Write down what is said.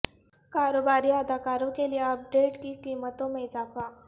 کاروباری اداروں کے لئے اپ ڈیٹ کی قیمتوں میں اضافہ